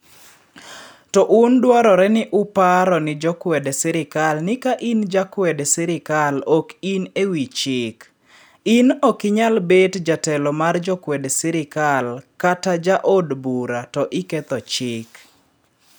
" To un dwarore ni uparo ni jokwed sirikal ni ka in ja kwed sirikal ok in e wi chik , in okinyal bet jetelo mar jo kwed sirikal kata ja od bura to iketho chik.